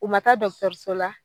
U ma taa dɔkutɔruso la